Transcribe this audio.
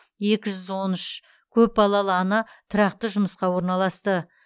екі жүз он үш көпбалалы ана тұрақты жұмысқа орналасты